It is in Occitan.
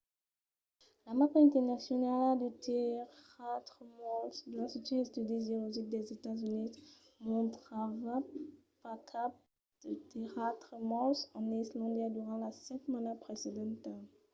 la mapa internacionala de tèrratremols de l’institut d’estudis geologics dels estats units mostrava pas cap de tèrratremols en islàndia durant la setmana precedenta